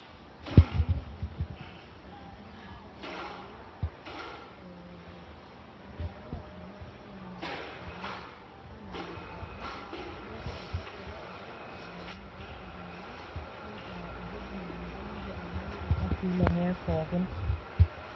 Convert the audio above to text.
Ore ene wueji naa episha torono nagira aitodolu eh, vile nagira iltunganak ainyial ormanyara. Anangaki oltaka neeku olchafu ele oltaka otanangakita iltunganak aitaa ewueji naa ninche enangirie sininche ilchafui lenye pookin.